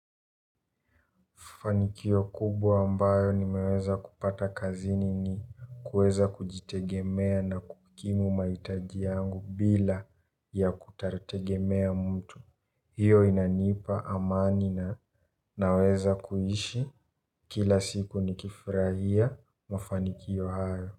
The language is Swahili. Mafanikio kubwa ambayo nimeweza kupata kazini ni kueza kujitegemea na kukimu maitajiangu bila ya kutartegemea mtu. Hio inanipa amani na naweza kuhishi kila siku nikifirahia mafanikio hayo.